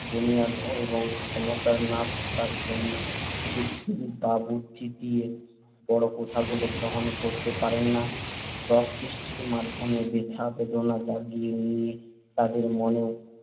বুনিয়াদ এবং ক্ষমতা না থাকার জন্য যুক্তি বা বুদ্ধি দিয়ে বড় কথাগুলো গ্রহণ করতে পারেন না রসসৃষ্টির মাধ্যমে ব্যথা-বেদনা জাগিয়ে দিয়ে তাদের মনেও